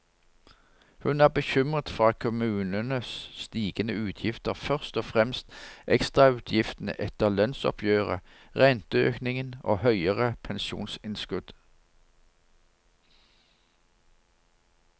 Hun er bekymret for kommunenes stigende utgifter, først og fremst ekstrautgiftene etter lønnsoppgjøret, renteøkningen og høyere pensjonsinnskudd.